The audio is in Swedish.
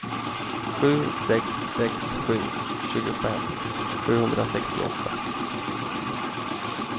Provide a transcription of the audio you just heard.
sju sex sex sju tjugofem sjuhundrasextioåtta